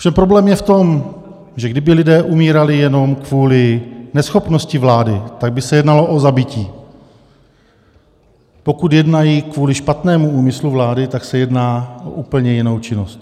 Ovšem problém je v tom, že kdyby lidé umírali jenom kvůli neschopnosti vlády, tak by se jednalo o zabití, pokud jednají kvůli špatnému úmyslu vlády, tak se jedná o úplně jinou činnost.